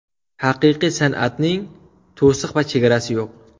Haqiqiy san’atning to‘siq va chegarasi yo‘q.